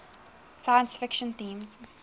science fiction themes